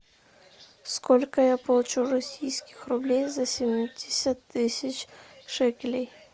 сколько я получу российских рублей за семьдесят тысяч шекелей